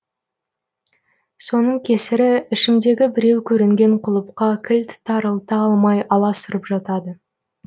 соның кесірі ішімдегі біреу көрінген құлыпқа кілт тарылта алмай аласұрып жатады